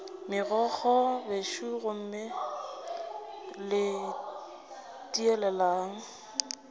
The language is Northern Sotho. megokgo bešo gomme le tieleleng